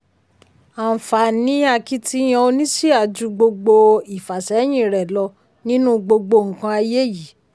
àǹfààní akitiyan oníṣíà ju gbogbo ìfàsẹ́yìn rẹ lọ nínú gbogbo nǹkan ayé yìí.